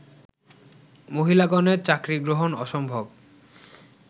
মহিলাগণের চাকরী গ্রহণ অসম্ভব